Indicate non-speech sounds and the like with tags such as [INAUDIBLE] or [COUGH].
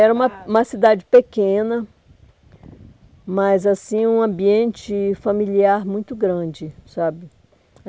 [UNINTELLIGIBLE] Era uma uma cidade pequena, mas assim um ambiente familiar muito grande, sabe.